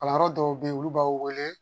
Kalanyɔrɔ dɔw bɛ yen olu b'a wele